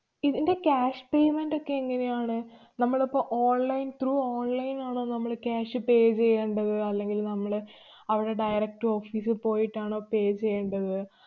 ഇതിന്‍റെ cash payment ഒക്കെ എങ്ങനെയാണ്? നമ്മളിപ്പോ online through online ആണോ നമ്മള് cash pay ചെയ്യേണ്ടത്? അല്ലെങ്കില്‍ നമ്മള് അവിടെ direct office ല്‍ പോയിട്ടാണോ pay ചെയ്യേണ്ടത്?